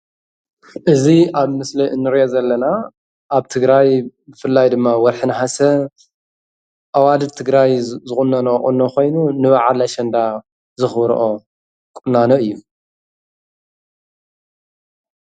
እዚ ኣብ ምስሊ ንርኦ ዘለና ኣብ ትግራይ ብፍላይ ድማ ወርሒ ነሐሰ ኣዋልድ ትግራይ ዝቁነነኦ ቁኖ ኮይኑ ንባዓል ኣሸንዳ ዘክብሮኦ ቁናኖ እዩ።